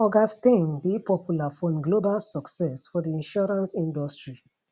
oga steyn dey popular for im global success for di insurance industry